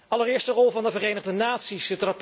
Allereerst de rol van de Verenigde Naties.